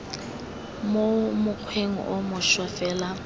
mo mokgweng o mošwa fela